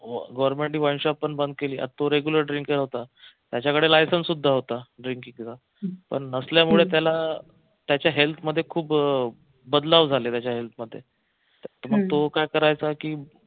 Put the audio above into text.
government ने wine shop बंद केली तो regular drink करत होता त्याच्याकडे licenselicense सुद्धा होत drinking च पण नसल्यामुळे त्याला त्याच्या health मध्ये खूप बदलावं झाले त्याच्या health मध्ये मग तो काय करायचा की